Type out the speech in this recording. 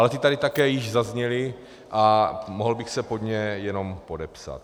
Ale ty tady také již zazněly a mohl bych se pod ně jenom podepsat.